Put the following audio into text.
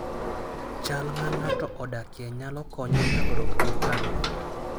Chal ma ng'ato odakie nyalo konye nyagruok gi parruok.